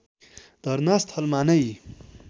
धर्ना स्थलमा नै